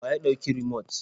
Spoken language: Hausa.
Wa ya ɗauki rumot?